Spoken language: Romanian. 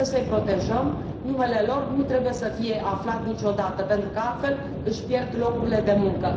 Trebuie să i protejăm, numele lor nu trebuie să fie aflat niciodată, pentru că altfel își pierd locurile de muncă.